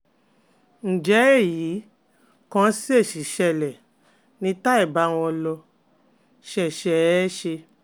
Ǹjẹ́ èyí kàn ṣèèṣì ṣẹlẹ̀ ni tàí báwo ló ṣe ṣe é ṣe?